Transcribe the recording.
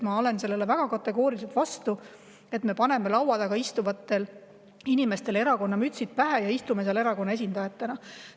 Ma olen väga kategooriliselt vastu sellele, et me paneme laua taga istuvatele inimestele erakonna mütsid pähe ja istume seal erakonna esindajatena.